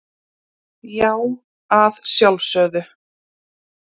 Já, að sjálfsögðu.